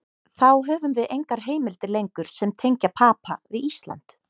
Þá höfum við engar heimildir lengur sem tengja Papa við Ísland.